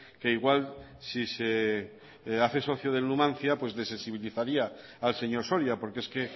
que igual si se hace socio del numancia pues desensibilizaría al señor soria porque es que